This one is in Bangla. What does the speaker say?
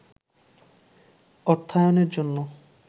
অর্থায়নের জন্য